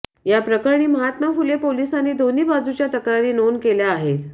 या प्रकरणी महात्मा फुले पोलिसांनी दोन्ही बाजूच्या तक्रारी नोंद केल्या आहेत